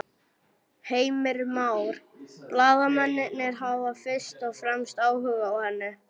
Heimir Már: Blaðamennirnir hafa fyrst og fremst áhuga á henni?